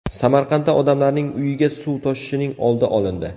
Samarqandda odamlarning uyiga suv toshishining oldi olindi.